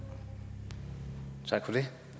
det